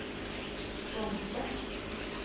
sponse